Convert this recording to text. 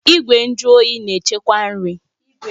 Igwe nju oyi na-echekwa nri